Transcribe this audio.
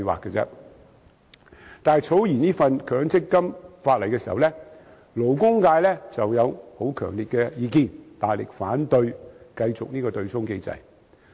不過，草擬強積金法例時，勞工界曾提出十分強烈的意見，大力反對繼續此對沖機制。